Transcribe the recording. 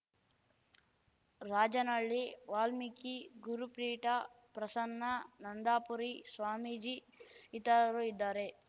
ರಾಜನಹಳ್ಳಿ ವಾಲ್ಮೀಕಿ ಗುರುಪೀಠ ಪ್ರಸನ್ನನಂದಾಪುರಿ ಸ್ವಾಮೀಜಿ ಇತರರು ಇದ್ದಾರೆ